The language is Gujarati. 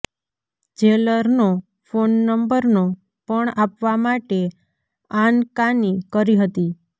જેલરનો ફોન નંબરનો પણ આપવા માટે આનકાની કરી હતી